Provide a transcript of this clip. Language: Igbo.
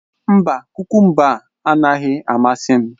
Mba, kukumba anaghị amasị m